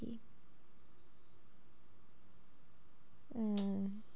হ্যাঁ,